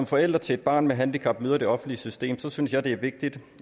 forældre til et barn med handicap møder det offentlige system synes jeg det er vigtigt